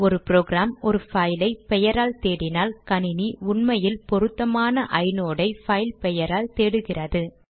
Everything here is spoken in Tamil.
ஒரு ப்ரோக்ராம் ஒரு பைலை பெயரால் தேடினால் கணினி உண்மையில் பொருத்தமான ஐநோட் ஐ பைல் பெயரால் தேடுகிறது